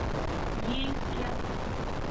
ейске